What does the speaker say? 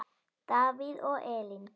Davíð og Elín.